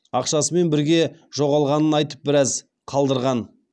ақшасымен бірге жоғалғанын айтып біраз қалдырған